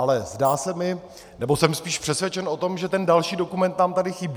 Ale zdá se mi, nebo jsem spíš přesvědčen o tom, že ten další dokument nám tady chybí.